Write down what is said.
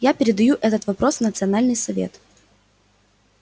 я передаю этот вопрос в национальный совет